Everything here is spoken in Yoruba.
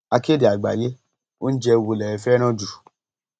akéde àgbáyé oúnjẹ wo lẹ fẹràn jù